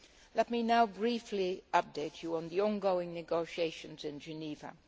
Let me now briefly update you on the ongoing negotiations in Geneva.